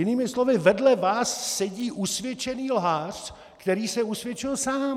Jinými slovy, vedle vás sedí usvědčený lhář, který se usvědčil sám.